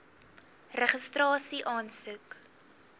registrasieaansoek